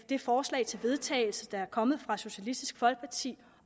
det forslag til vedtagelse der kommer fra socialistisk folkeparti